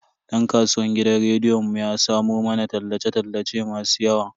Dan kasuwan gidan rediyon mu ya samo mana tallace tallace masu yawa.